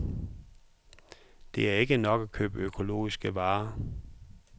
Det er ikke nok at købe økologiske varer.